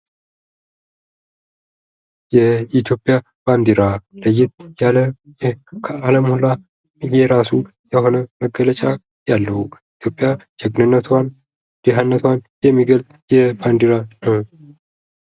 የኢትዮጵያ ባንዲራ ለየት ያለ ከዓለሙ ለየት ያለ መገለጫ ያለው ኢትዮጵያ ጀግንነትዋን ድህነትዋን የሚገልጽ ነው።